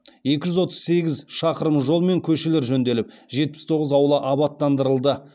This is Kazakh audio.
екі жүз отыз сегіз шақырым жол мен көшелер жөнделіп жетпіс тоғыз аула абаттандырылды